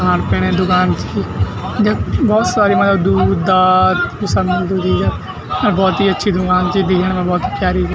खाण पीणे क दुकान च जख भौत सारी मलब दूध दाद यी सब मिलदु दि यख अर भौत ही अच्छी दुकान चि दिखेण मा भौत ही प्यारी बी।